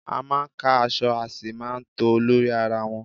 A máa ń ka aṣọ a sì máa tòó lórí ara wọn.